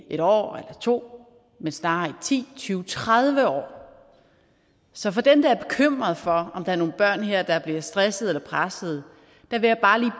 en år eller to år men snarere i ti tyve tredive år så så dem der er bekymret for om der er nogle børn her der bliver stresset eller presset vil jeg bare